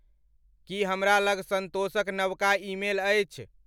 की हमरा लग संतोषक नवका ईमेल अछि?